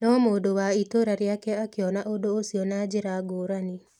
No mũndũ wa itũũra rĩake akĩona ũndũ ũcio na njĩra ngũrani.